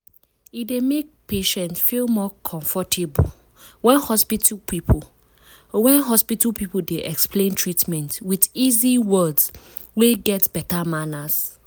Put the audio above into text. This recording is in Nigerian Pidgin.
e dey make patient feel more comfortable when hospital people when hospital people dey explain treatment with easy words wey get beta manners.